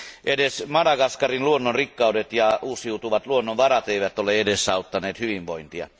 Edes Madagaskarin luonnonrikkaudet ja uusiutuvat luonnonvarat eivät ole edesauttaneet hyvinvointia.